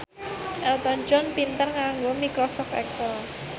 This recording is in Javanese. Elton John pinter nganggo microsoft excel